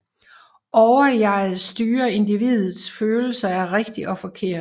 Overjeget styrer individets følelse af rigtigt og forkert